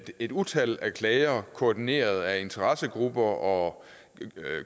et utal af klager koordineret af interessegrupper og